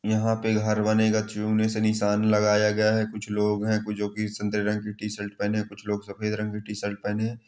यहाँ पे घर बनेगा चुने से निशान लगाया गया है कुछ लोग है जो की संतरे रंग की टीशर्ट पहने है कुछ लोग सफ़ेद रंग की टीशर्ट पहने है।